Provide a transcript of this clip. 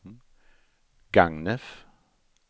Gagnef